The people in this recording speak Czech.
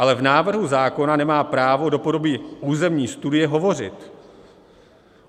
Ale v návrhu zákona nemá právo do podoby územní studie hovořit.